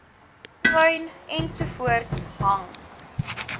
tuin ensovoorts hang